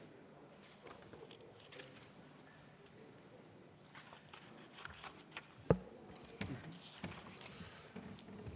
Suur tänu!